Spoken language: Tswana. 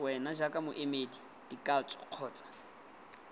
wena jaaka moemedi dikatso kgotsa